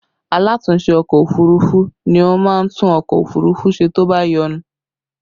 Alatúnse ọkọ òfurufú ni ó máa ń tún ọkọ òfurufú ṣe tó bá yọnu